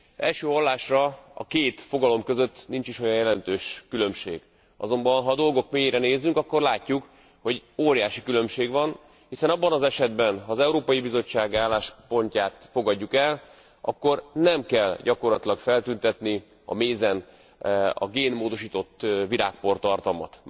Első hallásra a két fogalom között nincs is olyan jelentős különbség, azonban ha a dolgok mélyére nézünk, akkor látjuk, hogy óriási különbség van, hiszen abban az esetben, ha az Európai Bizottság álláspontját fogadjuk el, akkor nem kell gyakorlatilag feltüntetni a mézen a génmódosított virágportartalmat.